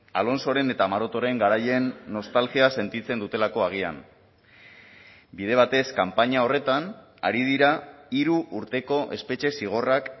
alonsoren eta marotoren garaien nostalgia sentitzen dutelako agian bide batez kanpaina horretan ari dira hiru urteko espetxe zigorrak